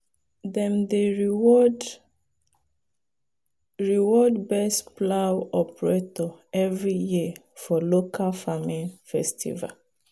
dem dey reward reward best plow operator every year for local farming festival.